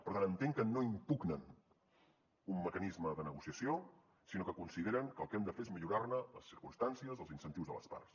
per tant entenc que no impugnen un mecanisme de negociació sinó que consideren que el que hem de fer és millorar ne les circumstàncies els incentius de les parts